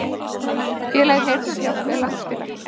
Félagið Heyrnarhjálp er landsfélag.